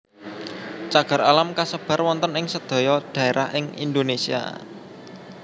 Cagar alam kasebar wonten ing sedaya dhaerah ing Indonesia